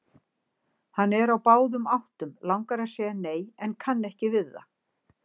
Hann er á báðum áttum, langar að segja nei en kann ekki við það.